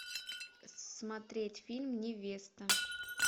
смотреть фильм невеста